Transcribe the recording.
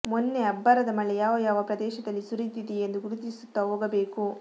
ಮೊನ್ನೆ ಅಬ್ಬರದ ಮಳೆ ಯಾವ ಯಾವ ಪ್ರದೇಶದಲ್ಲಿ ಸುರಿದಿದೆಯೆಂದು ಗುರುತಿಸುತ್ತ ಹೋಗಬೇಕು